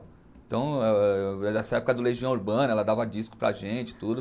Então, nessa época do Legião Urbana, ela dava disco para a gente e tudo.